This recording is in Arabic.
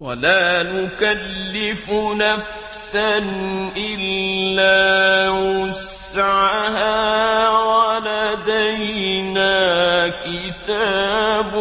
وَلَا نُكَلِّفُ نَفْسًا إِلَّا وُسْعَهَا ۖ وَلَدَيْنَا كِتَابٌ